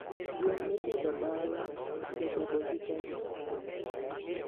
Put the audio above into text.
Gwen mipidho dala jabedo gi teko sana